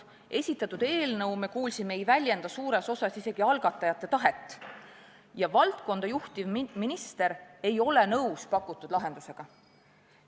Me kuulsime, et esitatud eelnõu ei väljenda suures osas isegi mitte algatajate tahet, ja valdkonda juhtiv minister ei ole pakutud lahendusega nõus.